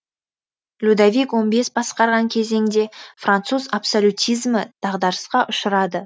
людовик он бес басқарған кезеңде француз абсолютизмі дағдарысқа ұшырады